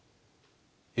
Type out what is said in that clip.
í